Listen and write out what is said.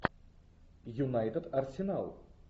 юнайтед арсенал